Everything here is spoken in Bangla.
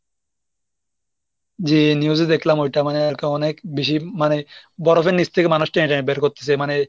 জি news এ দেখলাম ওইটা মানে অনেক বেশি মানে বরফ নিচ থেকে মানুষ টেনে টেনে বের করতেছে মানে,